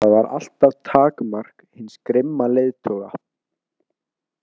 Það var alltaf takmark hins grimma leiðtoga.